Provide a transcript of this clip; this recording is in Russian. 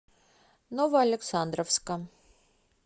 новоалександровска